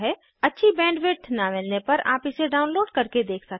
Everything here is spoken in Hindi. अच्छी बैंडविड्थ न मिलने पर आप इसे डाउनलोड करके देख सकते हैं